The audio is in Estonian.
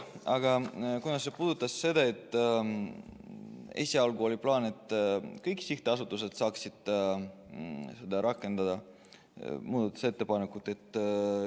Aga see puudutas seda, et esialgu oli plaan, et kõikide sihtasutuste puhul saaks seda muudatusettepanekut rakendada.